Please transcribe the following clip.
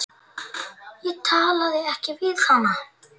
Ég talaði ekki við hana.